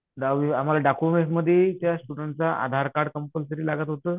दहावी आम्हाला डॉक्युमेंट्स मध्ये त्या स्टुडेंटचा आधारकार्ड कंपलसरी लागत होतं.